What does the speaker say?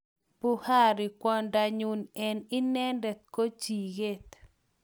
Buhari: kwondanyun eng inedet ko jiket